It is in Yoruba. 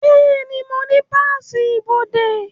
Bẹ́ẹ̀ni, mo ní páàsì ibodè